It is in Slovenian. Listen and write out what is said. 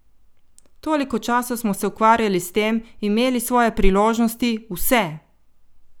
Toliko časa smo se ukvarjali s tem, imeli svoje priložnosti, vse!